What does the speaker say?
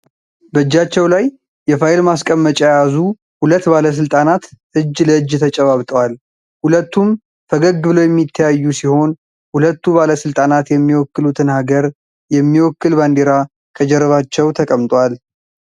በእጃቸው ላይ የፋይል ማስቀመጫ የያዙ ሁለት ባለስልጣናት እጅ ለእጅ ተጨባብጠዋል። ሁለቱም ፈገግ ብለው የሚተያዩ ሲሆን ሁለቱ ባለስልጣናት የሚወክሉትን ሃገር የሚወክል ባንዲራ ከጀርባቸው ተቀምጧል።